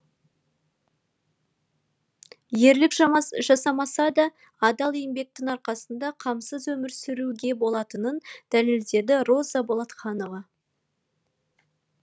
ерлік жасамаса да адал еңбектің арқасында қамсыз өмір сүруге болатынын дәлелдеді роза болатханова